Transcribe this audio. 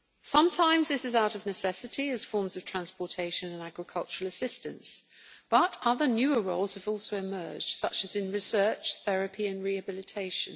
Sometimes this is out of necessity, as forms of transportation and agricultural assistance, but other newer roles have also emerged such as in research, therapy and rehabilitation.